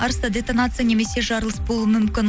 арыста детонация немесе жарылыс болуы мүмкін